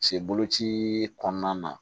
Se boloci kɔnɔna na